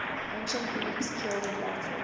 ancient greeks killed in battle